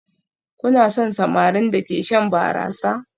Kuna son samarin da ke shan barasa?